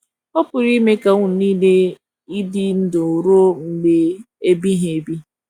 Ọpụrụ ime ka ụnụ nile ịdị ndụ ruo mgbe ebighị ebi!